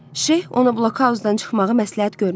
Şeyx ona blokhauzdan çıxmağı məsləhət görmürdü.